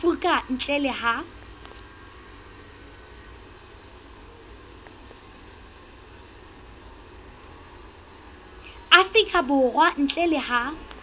afrika borwa ntle le ha